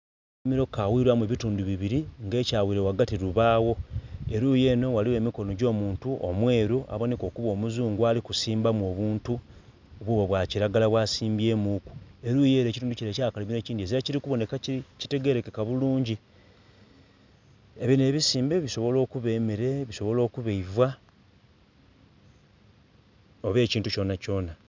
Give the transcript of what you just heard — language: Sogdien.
Akalimiro kawilwamu ebitundu bibiri nga ekyawile ghagati lubaawo. Eluyi enho ghaligho emikono gy'omuntu omweru aboneka okuba omuzungu ali kusimbamu obuntu, bubwo bwa kiragala bwasimbyemuku. Eluyi ere ekitundu kile eky'akalimiro ekindhi ezira kili kuboneka ekitegerekeka bulungi. Binho ebisimbe bisobobola okuba emere bisobola okuba eiva, oba ekintu kyonakyona